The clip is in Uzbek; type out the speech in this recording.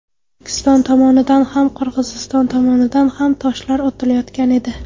O‘zbekiston tomonidan ham, Qirg‘iziston tomonidan ham toshlar otilayotgan edi.